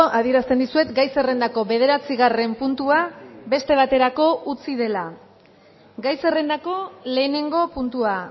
adierazten dizuet gai zerrendako bederatzigarren puntua beste baterako utzi dela gai zerrendako lehenengo puntua